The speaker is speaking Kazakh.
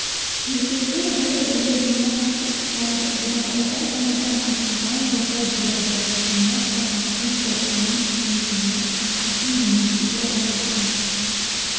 музейлер бір-бірлеріне қатты ұқсайды бурабайда жаңадан ашылған ботай-бурабай кешені қорғалжын қорығының музейі алтын емелдегі уәлиханов